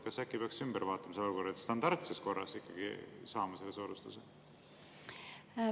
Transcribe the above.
Kas äkki peaks ümber vaatama selle olukorra, et nad standardses korras saavad selle soodustuse?